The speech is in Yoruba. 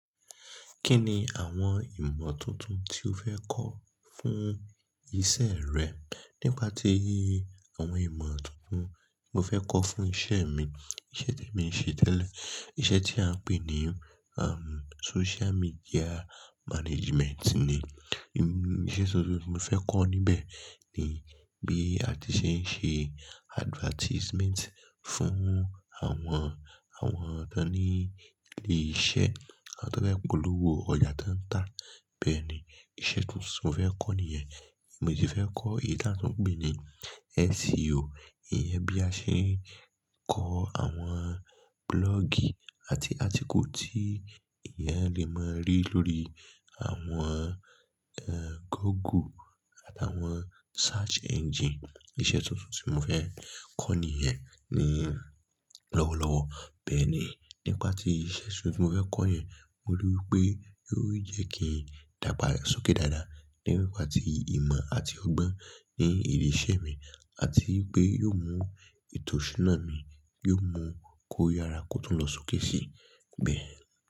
Kí ni àwọn ìmọ̀ tuntun tí o fẹ́ kọ́ fún ìṣe rẹ? Nípa tí àwọn ìmọ̀ tuntun mo fẹ́ kọ́ fún isẹ mi, iṣẹ tí mo ń ṣe tẹ́lẹ̀, iṣẹ́ tí à ń pè ní um, social media management ni. Iṣẹ tuntun mo fẹ́ kọ́ níbẹ̀ ni bí a ti ṣe ń ṣe advertisement fún àwọn, àwọn ẹni le iṣẹ́ àti fẹ́ polówó ọjà tí wọ́n ń tà. Bẹ́ẹ̀ ni iṣẹ tuntun mo fẹ́ kọ́ nìyẹn. Mo sì fẹ́ kọ ìdá náà pè ní SEO. Iyẹn bí a ṣe ń kọ àwọn blog àti àtíkùlù tí ìyẹn lè máa rí lórí àwọn, ẹ́, Google àtàwọn search engine. Iṣẹ tuntun tí mo fẹ́ Bẹ́ẹ̀ ni iṣẹ tuntun mo fẹ́ kọ́ nìyẹn. Bẹ́ẹ̀ ni nípa tí iṣẹ tuntun mo fẹ́ kọ́ yẹn, mo rí i pé yóò jẹ́ kí n dàgbà sókè dáadáa lẹ́yìn ní ìpà tí ìmọ̀ àti ọgbọ́n ní ilé iṣẹ́ mi àti wípé yóò mú ìtọ́súná mi, yóò mú kó yára kó tún lọ sókè si. Bẹ́ẹ̀.